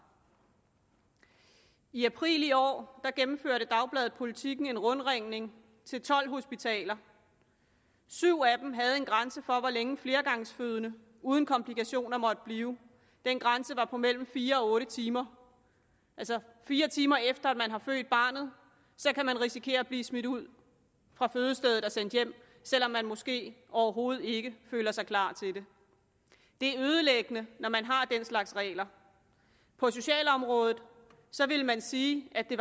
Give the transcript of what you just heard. i april i år gennemførte dagbladet politiken en rundringning til tolv hospitaler syv af dem havde en grænse for hvor længe flergangsfødende uden komplikationer måtte blive den grænse var på mellem fire og otte timer altså fire timer efter at man har født barnet kan man risikere at blive smidt ud fra fødestedet og sendt hjem selv om man måske overhovedet ikke føler sig klar til det det er ødelæggende når man har den slags regler på socialområdet ville man sige at det